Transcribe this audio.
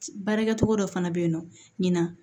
Baarakɛcogo dɔ fana bɛ yen nɔ ɲina